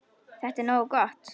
Þetta er nokkuð gott.